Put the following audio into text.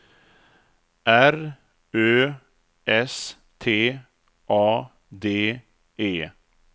R Ö S T A D E